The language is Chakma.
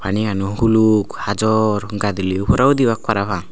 pani gan u huluk hajor gadilio fhora udibak parapang.